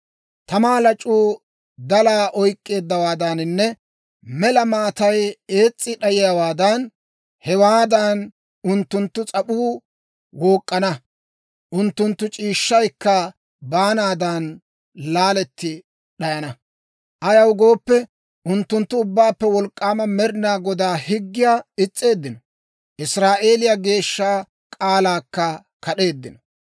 Tamaa lac'uu dalaa oyk'k'iyaawaadaaninne mela maatay ees's'i d'ayiyaawaadan, hewaadan unttunttu s'ap'uu wook'k'ana; unttunttu c'iishshaykka baanaadan laaletti d'ayana; ayaw gooppe, unttunttu Ubbaappe Wolk'k'aama Med'inaa Godaa higgiyaa is's'eeddino; Israa'eeliyaa Geeshsha k'aalaakka kad'eeddino.